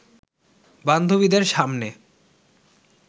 বান্ধবীদের সামনে